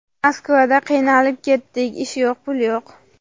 Moskvada qiynalib ketdik, ish yo‘q, pul yo‘q.